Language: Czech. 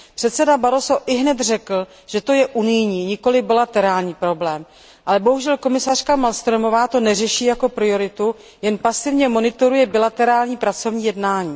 Předseda Barroso ihned řekl, že to je unijní, nikoli bilaterální problém, ale bohužel komisařka Malmströmová to neřeší jako prioritu, jen pasivně monitoruje bilaterální pracovní jednání.